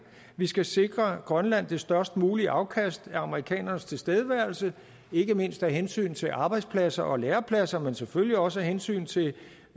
vi skal sikre grønland det størst mulige afkast af amerikanernes tilstedeværelse ikke mindst af hensyn til arbejdspladser og lærepladser men selvfølgelig også af hensyn til